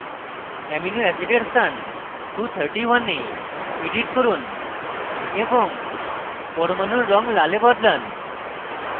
amino অ্যাসিডের স্থান 231 এ edit করুন এবং পরমাণুর red লালে বদলান